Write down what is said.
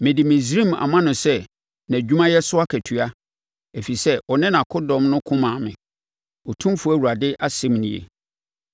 Mede Misraim ama no sɛ nʼadwumayɛ so akatua, ɛfiri sɛ ɔne nʼakodɔm ko maa me, Otumfoɔ Awurade asɛm nie.